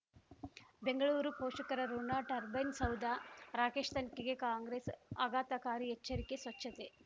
ಬೆಂಗಳೂರು ಪೋಷಕರಋಣ ಟರ್ಬೈನ್ ಸೌಧ ರಾಕೇಶ್ ತನಿಖೆಗೆ ಕಾಂಗ್ರೆಸ್ ಆಘಾತಕಾರಿ ಎಚ್ಚರಿಕೆ ಸ್ವಚ್ಛತೆ